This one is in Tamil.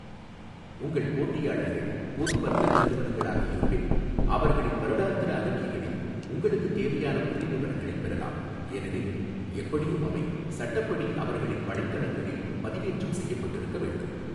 உங்கள் போட்டியாளர்கள் பொது வர்த்தக நிறுவனங்களாக இருப்பின், அவர்களின் வருடாந்திர அறிக்கைகளில் உங்களுக்குத் தேவையான புள்ளிவிவரங்களைப் பெறலாம், ஏனெனில் எப்படியும் அவை சட்டப்படி அவர்களின் வலைத்தளங்களில் பதிவேற்றம் செய்யப்பட்டிருக்க வேண்டும்.